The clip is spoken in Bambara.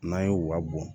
N'an ye u ka bɔn